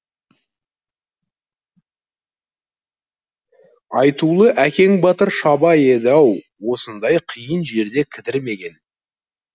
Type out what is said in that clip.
айтулы әкең батыр шабай еді ау осындай қиын жерде кідірмеген